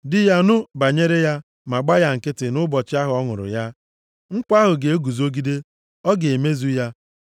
di ya nụ banyere ya ma gba ya nkịtị nʼụbọchị ahụ ọ nụrụ ya, nkwa ahụ ga-eguzogide, ọ ga-emezu ya.